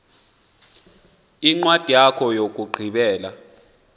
incwadi yakho yokugqibela